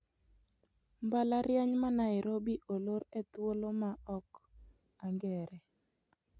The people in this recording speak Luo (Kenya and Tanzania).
Mbalariany ma Nairobi olor e thuolo ma ok ang'ere